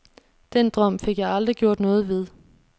Den drøm fik jeg aldrig gjort noget ved.